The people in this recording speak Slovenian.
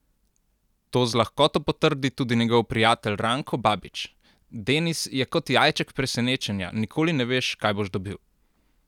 To z lahkoto potrdi tudi njegov prijatelj Ranko Babić: "Denis je kot jajček presenečenja, nikoli ne veš kaj boš dobil.